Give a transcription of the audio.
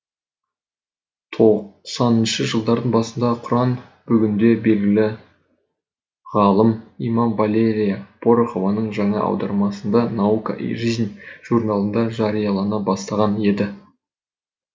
тоқсанынышы жылдардың басында құран бүгінде белгілі ғалым имам валерия порохованың жаңа аудармасында наука и жизнь журналында жариялана бастаған еді